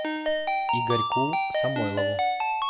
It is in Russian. игорьку самойлову